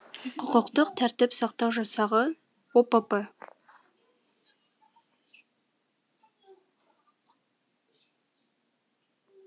құқықтық тәртіп сақтау жасағы опп